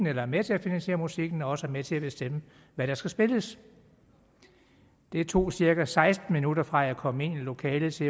er med til at finansiere musikken også er med til at bestemme hvad der skal spilles det tog cirka seksten minutter fra jeg kom ind i lokalet til